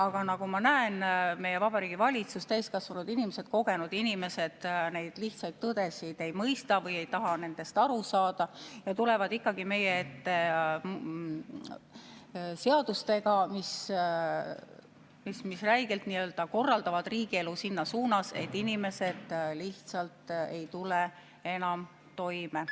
Aga nagu ma näen, meie Vabariigi Valitsus, täiskasvanud inimesed, kogenud inimesed, neid lihtsaid tõdesid ei mõista või ei taha nendest aru saada ja tulevad meie ette seadustega, mis räigelt korraldavad riigielu selles suunas, et inimesed lihtsalt ei tule enam toime.